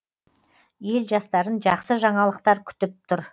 ел жастарын жақсы жаңалықтар күтіп тұр